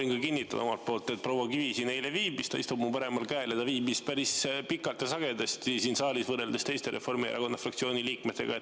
Jah, ma võin ka omalt poolt kinnitada, et proua Kivi siin eile viibis – ta istub mu paremal käel –, ta viibis päris pikalt ja sagedasti siin saalis võrreldes teiste Reformierakonna fraktsiooni liikmetega.